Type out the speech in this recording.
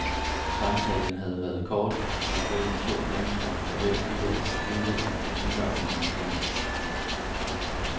Samtalen havde været kort, som mellem to mennesker, for hvem livet er stivnet i rutiner og monotoni.